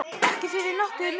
Ekki fyrir nokkurn mun.